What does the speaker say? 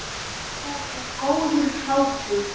Það er góður hlátur.